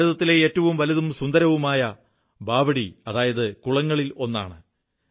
ഇത് ഭാരതത്തിലെ ഏറ്റവും വലുതും സുന്ദരവുമായ ബാവഡി കുളംകളിലൊന്നാണ്